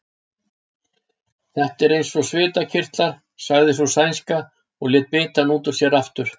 Þetta er eins og svitakirtlar, sagði sú sænska og lét bitann út úr sér aftur.